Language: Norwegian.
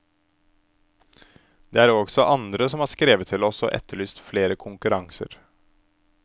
Det er også andre som har skrevet til oss og etterlyst flere konkurranser.